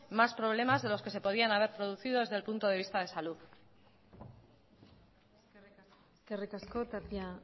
más problemas de los que se podían haber producido desde el punto de vista de salud eskerrik asko tapia